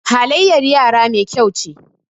halyyar yara Mai kyau ce